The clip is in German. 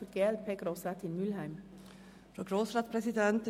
Für die glpFraktion hat Grossrätin Mühlheim das Wort.